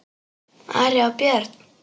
Ari og Björn!